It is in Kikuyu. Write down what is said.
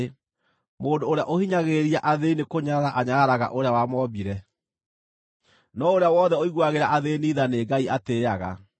Mũndũ ũrĩa ũhinyagĩrĩria athĩĩni nĩkũnyarara anyararaga Ũrĩa wamombire, no ũrĩa wothe ũiguagĩra athĩĩni tha, nĩ Ngai atĩĩaga.